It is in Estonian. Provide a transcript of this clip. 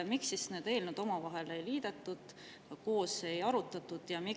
Miks siis neid eelnõusid omavahel ei liidetud ega koos ei arutatud?